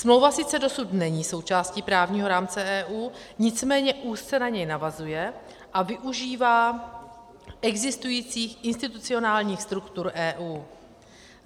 Smlouva sice dosud není součástí právního rámce EU, nicméně úzce na něj navazuje a využívá existujících institucionálních struktur EU.